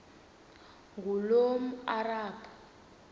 ngulomarabu